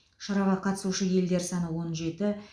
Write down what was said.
шараға қатысушы елдер саны он жеті